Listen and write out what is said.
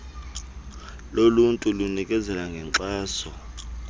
loluntu linikezela ngenkxaso